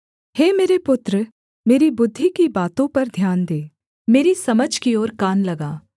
हे मेरे पुत्र मेरी बुद्धि की बातों पर ध्यान दे मेरी समझ की ओर कान लगा